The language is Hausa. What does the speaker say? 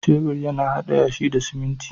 Shebur yana haɗa yashi da siminti